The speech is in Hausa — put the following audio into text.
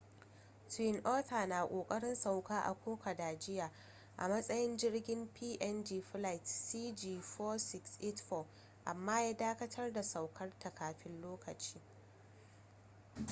twin otter na kokarin sauka a kokoda jiya a matsayin jirgin png flight cg4684 amma ya dakatar da saukar ta kafin lokaci